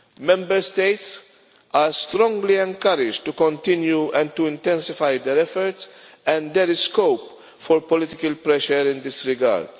Member States are strongly encouraged to continue and to intensify their efforts and there is scope for political pressure in this regard.